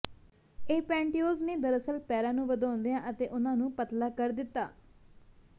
ਇਹ ਪੈਂਟਯੋਜ਼ ਨੇ ਦਰਅਸਲ ਪੈਰਾਂ ਨੂੰ ਵਧਾਉਂਦਿਆਂ ਅਤੇ ਉਨ੍ਹਾਂ ਨੂੰ ਪਤਲਾ ਕਰ ਦਿੱਤਾ